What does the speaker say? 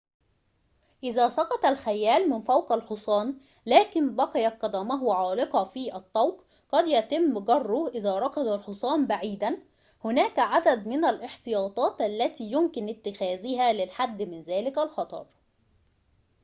إذا سقط الخيّال من فوق الحصان لكن بقيت قدمه عالقة في الطوق قد يتم جره إذا ركض الحصان بعيداً هناك عدد من الاحتياطات التي يمكن اتخاذها للحد من ذلك الخطر